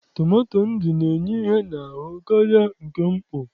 Tomato ndụ na-enye ihe n'ahụ karịa nke mkpọ.